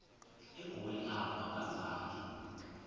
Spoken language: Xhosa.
egoli apho akazanga